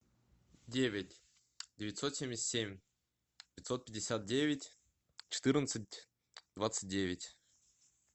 девять девятьсот семьдесят семь пятьсот пятьдесят девять четырнадцать двадцать девять